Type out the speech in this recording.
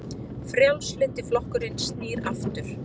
Frjálslyndi flokkurinn snýr aftur